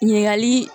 Ɲininkali